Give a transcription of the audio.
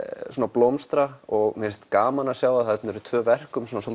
blómstra og mér finnst gaman að sjá að þarna eru tvö verk um svona